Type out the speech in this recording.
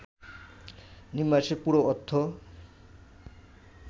নিম্বাসের পুরো অর্থ